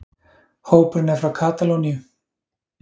Hópurinn er frá Katalóníu